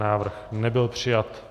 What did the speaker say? Návrh nebyl přijat.